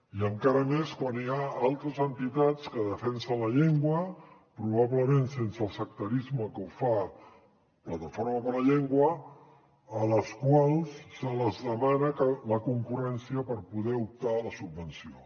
i encara més quan hi ha altres entitats que defensen la llengua probablement sense el sectarisme que ho fa plataforma per la llengua a les quals se’ls demana la concurrència per poder optar a la subvenció